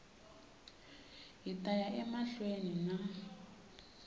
hi ta ya emahlweni na